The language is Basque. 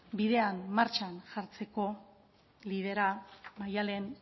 bidean martxan jartzeko liderra da maddalen